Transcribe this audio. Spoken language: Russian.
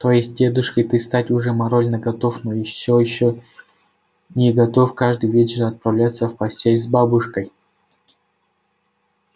то есть дедушкой стать ты уже морально готов но ещё не готов каждый вечер отправляться в постель с бабушкой